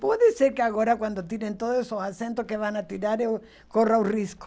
Pode ser que agora quando tirem todos os acentos que vão tirar eu corra o risco.